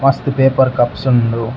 ಮಸ್ತ್ paper cups ಉಂಡು.